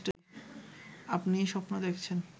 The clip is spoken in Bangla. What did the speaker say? আপনিই স্বপ্ন দেখেছেন